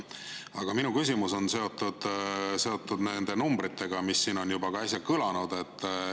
Aga minu küsimus on seotud nende numbritega, mis siin äsja kõlasid.